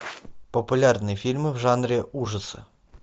популярные фильмы в жанре ужасы